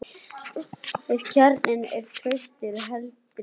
Ef kjarninn er traustur heldur sambandið.